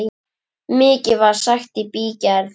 Mikið var sagt í bígerð.